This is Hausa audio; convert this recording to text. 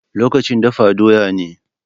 Lokacin dafa doya ne.